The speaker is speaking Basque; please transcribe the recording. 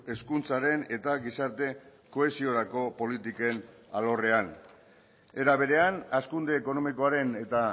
hezkuntzaren eta gizarte kohesiorako politiken alorrean era berean hazkunde ekonomikoaren eta